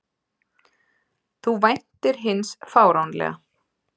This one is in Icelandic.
Þú væntir hins fáránlega.